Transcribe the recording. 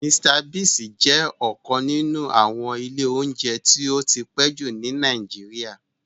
Mr Biggs jẹ́ ọ́kan ninu àwọn ìlé ounjẹ ti ó ti pe ju ni Nàìjíríà.